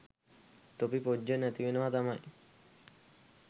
තොපි පොජ්ජ නැතිවෙනවා තමයි.